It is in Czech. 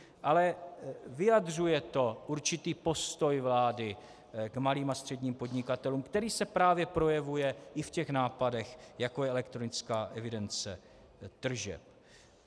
Ale vyjadřuje to určitý postoj vlády k malým a středním podnikatelům, který se právě projevuje i v těch nápadech, jako je elektronická evidence tržeb.